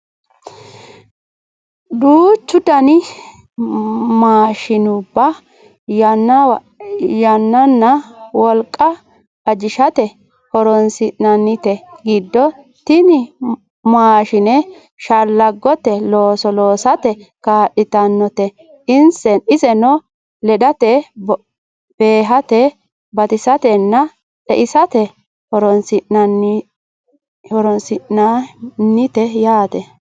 duuchu dani maashinubba yannanna wolqa ajishate horonsi'nannite giddo tini maashine shallaggote looso loosate kaa'litannote iseno ledate beehate batisatennna xe"isate horionsi'nannite yaate